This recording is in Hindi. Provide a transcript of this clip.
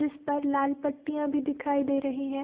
जिस पर लाल पटियां भी दिखाई दे रहीं हैं।